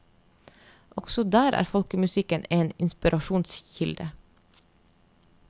Også der er folkemusikken en inspirasjonskilde.